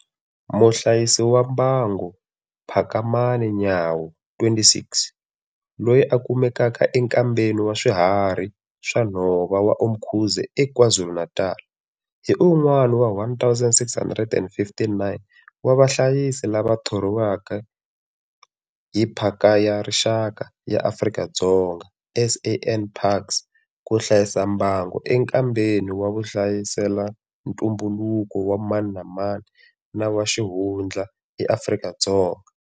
Muhlayisi wa mbango Phakamani Nyawo, 26, loyi a kumekaka eNkambeni wa Swiharhi swa nhova wa Umkhuze eKwaZulu-Natal, hi un'wana wa 1 659 wa vahlayisi lava thoriweke hi Phaka ya Rixaka ya Afrika-Dzonga, SANParks, ku hlayisa mbango enkambeni wa vuhlayiselantumbuluko wa mani na mani na wa xihundla eAfrika-Dzonga.